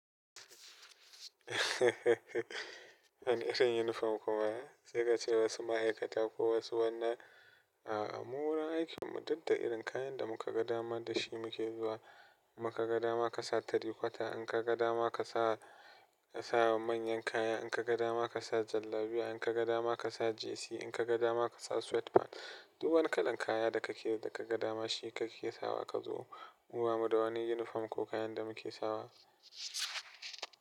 Wani sa unifom kuma sai kace wasu ma'aikata ko wasu wannan, a'a mu wurin aikin mu duk da irin kayan da muka ga dama dashi muke zuwa. Inma kaga dama kasa tirikwata, in kaga dama kasa, kasa manyan kaya, inka ga dama kasa jallabiya, in kaga dama kasa jesi, inka ga dama kasa sweatpant. Duk wani kalan kaya da kake da kaga dama shi kake sawa kazo mu bamu da wani unifom ko kayan da muke sawa.